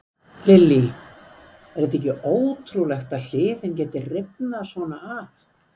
Lillý: Er þetta ekki ótrúlegt að hliðin geti rifnað svona af?